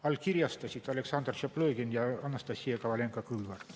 Allkirjastasid Aleksandr Tšaplõgin ja Anastassia Kovalenko-Kõlvart.